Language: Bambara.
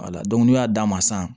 Wala dɔnku n'u y'a d'a ma san